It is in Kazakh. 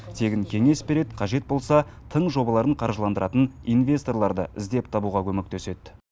тегін кеңес береді қажет болса тың жобаларын қаржыландыратын инвесторларды іздеп табуға көмектеседі